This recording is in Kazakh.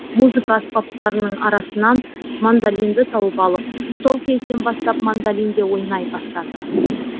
музыка аспаптарының арасынан мандолинді тауып алып сол кезден бастап мандолинде ойнай бастады